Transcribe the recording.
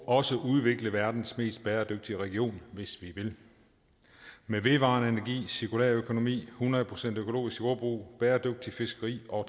også udvikle verdens mest bæredygtige region med vedvarende energi cirkulær økonomi hundrede procent økologisk jordbrug bæredygtigt fiskeri og